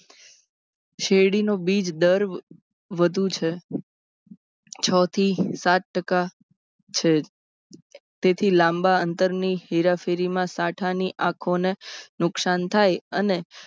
શેરડીનો બીજ દર વધુ છે. છ થી સાત ટકા છે. તેથી લાંબા અંતરની હેરાફેરીમાં સાંઠા ની આંખોને નુકસાન થાય અને